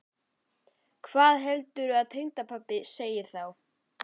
Hvað heldurðu að tengdapabbi segði þá?